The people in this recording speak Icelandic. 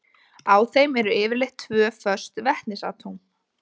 Á þeim eru yfirleitt tvö föst vetnisatóm.